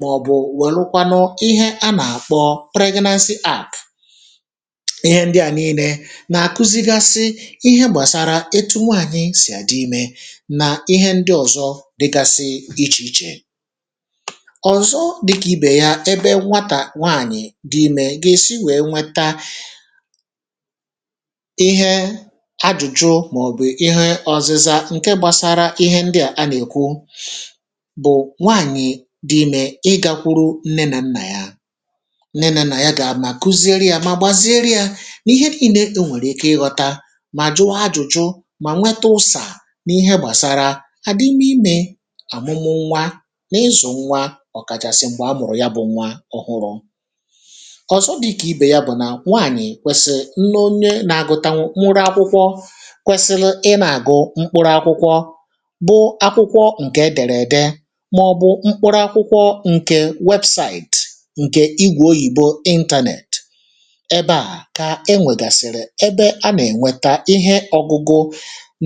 maọ̀bụ welụkwanụ ihe a na-akpọ pregnancy app ihe ndị a nii̇ne na-akụzigasị ihe gbasara etụ̀ nwaanyị sì adị ime na ihe ndị ọ̀zọ dịgasị iche iche ọ̀zọ dịka ibe ya ebe nwata nwaanyị̀ dị ime ga-esi wee nweta ihe ajụjụ ma ọ bụ ihe ọzịza ǹke gbasara ihe ndị a anekwụ bụ nwaanyị̀ dị ime ịgakwụrụ nne na nna ya, nne na na ya ga ama gụziere ya ma gbaziere ya n’ihe niine ọ nwere ike ịghọta ma jụọ jụjụ ma nwete ụsa n’ihe gbasara adịm mịme amụmụ nwa na ịzụ̀ nwa ọ̀kachasị̀ m̀gbe a mụ̀rụ̀ ya bụ̇ nwa ọhụrụ̇. Ọ̀zọ̀ dịka ibe ya bụ na nwaanyị̀ kwesìri nne ọnye na-agụ̀tanwụ mụrụ akwụkwọ kwesịrị ina agụ mkpụrụ akwụkwọ bụ akwụkwọ ǹke dere de ma ọ̀ bụ mkpụrụ akwụkwọ ǹke webụ̇saị̀tị̀ ǹke igwe ọyìbọ ịntanẹ̀tị̀ ẹbẹ a ka ẹ nwegasị̀rị̀ ẹbẹ a na-enwẹta ihe ọ̇gụ̇gụ̇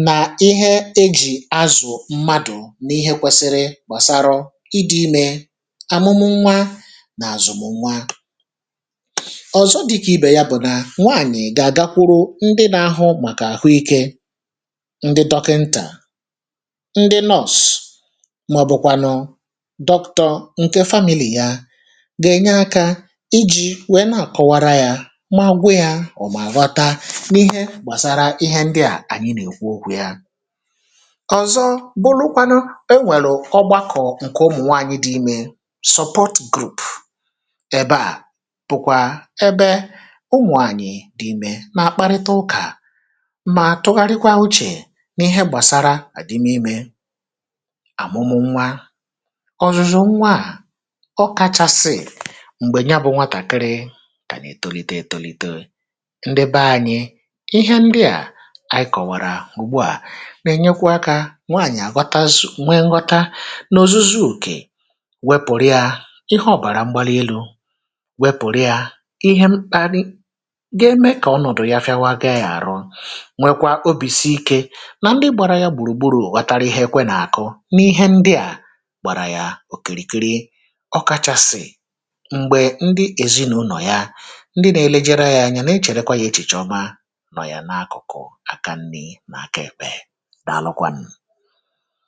na ihe ejì azụ̀ mmadụ̀ n’ihe kwesiri gbasarọ̇ ịdị̇ ime amụmụ nwa na azụmụ nwa. Ọ̀zọ dịka ibe ya bụ na nwaanyị ga agakwụrụ ndị na-ahụ maka ahuịke, ndị dọkịnta, ndị nọọ̀s maọbụ̀kwanụ̀ dọktọ ǹke famịlị̀ ya ga-enye aka ijì wee na-akọwara ya magwụ̇ ya ọ̀ maawata n’ihe gbasara ihe ndịa anyị n’ekwụ ọkwu̇ ya. Ọ̀zọ bụlụkwanụ e nwerụ̀ ọgbakọ̀ ǹke ụmụ̀nwaanyị dị ime support group ebe a bụ̀kwa ebe ụmụ̀ anyị dị ime na-akparịta ụka ma tugharikwa ụche n’íhe gbasara adịm ime, amụmụ nwa, ọ̀zụ̀zụ nwaa, ọ kachasị̇ m̀gbe nya bụ̇ nwa takịrị ka na etọlite etọlito. Ndị banyị̇, ihẹ ndị a anyị kọ̀wara ụ̀gbụ a na-enyekwa ka nwaanyị̀ agwatazụ̀ nwe nghọta n’ọ̀zụzọ ọke wepụ̀rụ̀ ya ihe ọ̀bara mgbalị elụ̇, wepụ̀rụ̀ ya ihe mkparị ga-eme ka ọnọ̀dụ ya fịawa ga ya arụ, nwekwa ọbi si ike na ndi gbara ya gbụrụ gbụrụ wotara ihe ekwe na-akụ n’ihe ndị a gbara ya ọ̀kirìkiri ọkachasị̀ m̀gbe ndị ezìnụ̀ụlọ̀ ya ndị na-elejere ya anya na-echerekwa ya echìche ọma nọ̀ ya na-akụ̀kụ̀ aka nni̇ na-aka ekpe. Dalụ kwan